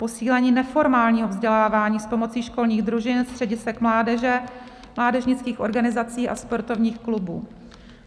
posílení neformálního vzdělávání s pomocí školních družin, středisek mládeže, mládežnických organizací a sportovních klubů;